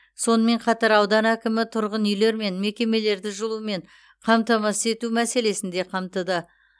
сонымен қатар аудан әкімі тұрғын үйлер мен мекемелерді жылумен қамтамасыз ету мәселесін де қамтыды